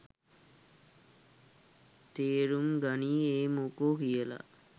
තේරුම් ගනියි ඒ මොකෝ කියලා.